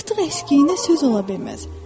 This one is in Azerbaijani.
Artıq əskiyinə söz ola bilməz.